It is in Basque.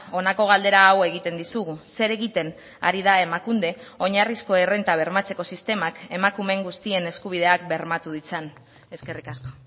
honako galdera hau egiten dizugu zer egiten ari da emakunde oinarrizko errenta bermatzeko sistemak emakumeen guztien eskubideak bermatu ditzan eskerrik asko